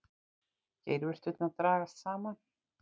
Geirvörturnar dragast saman.